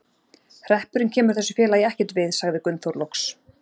Hreppurinn kemur þessu félagi ekkert við, sagði Gunnþór loks.